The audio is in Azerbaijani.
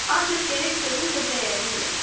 Ancaq gərək sözün də dəyərini biləsən.